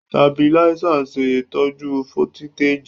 Tabiláísà ń ṣè tọ́jú fólítèjì